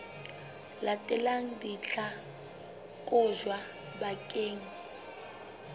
latelang di tla kotjwa bakeng